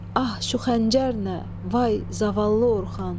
Ah şu xəncər nə, vay zavallı Orxan!